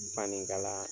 Fani kala